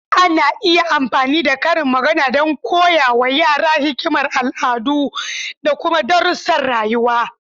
Ana iya amfani da karin magana don koya wa yara hikimar al'adu da kuma darussan rayuwa.